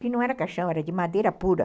que não era caixão, era de madeira pura.